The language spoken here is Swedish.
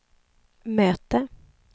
möte